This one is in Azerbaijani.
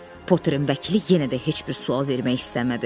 Potterin vəkili yenə də heç bir sual vermək istəmədi.